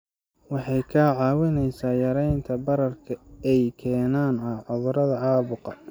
Waxay kaa caawinaysaa yaraynta bararka ay keenaan cudurrada caabuqa.